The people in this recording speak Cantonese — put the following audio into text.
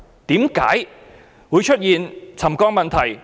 為何會出現沉降的問題？